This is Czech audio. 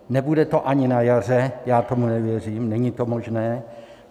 Nebude to ani na jaře, já tomu nevěřím, není to možné.